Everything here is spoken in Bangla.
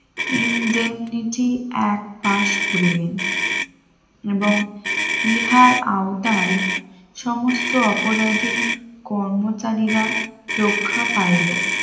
ইনডেমনিটি এক পাশ করলেন এবং ইহার আওতায় সমস্ত অপরাধীর কর্মচারীরা রক্ষা পাইলো